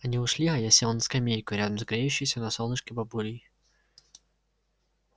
они ушли а я сел на скамейку рядом с греющейся на солнышке бабулей